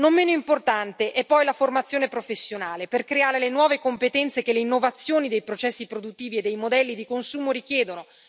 Non meno importante è poi la formazione professionale per creare le nuove competenze che le innovazioni dei processi produttivi e dei modelli di consumo richiedono.